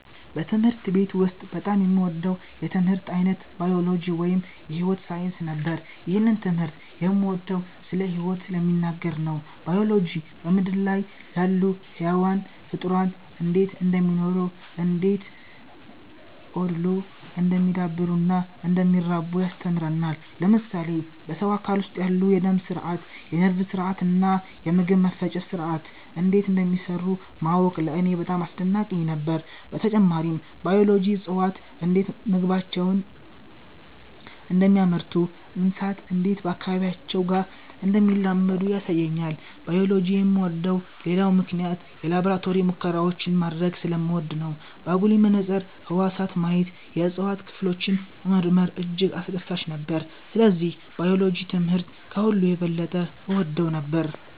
በትምህርት ቤት ውስጥ በጣም የምወደው የትምህርት ዓይነት ባዮሎጂ (የሕይወት ሳይንስ) ነበር። ይህን ትምህርት የምወደው ስለ ሕይወት ስለሚናገር ነው። ባዮሎጂ በምድር ላይ ያሉ ሕያዋን ፍጥረታት እንዴት እንደሚኖሩ፣ እንደሚ� oddሉ፣ እንደሚዳብሩ እና እንደሚራቡ ያስተምረናል። ለምሳሌ በሰው አካል ውስጥ ያሉ የደም ሥርዓት፣ የነርቭ ሥርዓት እና የምግብ መፈጨት ሥርዓት እንዴት እንደሚሠሩ ማወቅ ለእኔ በጣም አስደናቂ ነበር። በተጨማሪም ባዮሎጂ እፅዋት እንዴት ምግባቸውን እንደሚያመርቱ፣ እንስሳት እንዴት ከአካባቢያቸው ጋር እንደሚላመዱ ያሳየኛል። ባዮሎጂ የምወደው ሌላው ምክንያት የላቦራቶሪ ሙከራዎችን ማድረግ ስለምወድ ነው። በአጉሊ መነጽር ህዋሳትን ማየት፣ የእጽዋት ክፍሎችን መመርመር እጅግ አስደሳች ነበር። ስለዚህ ባዮሎጂ ትምህርት ከሁሉ የበለጠ እወደው ነበር።